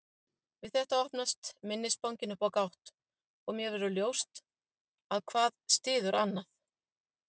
Við þetta opnast minnisbankinn upp á gátt og mér verður ljóst að hvað styður annað.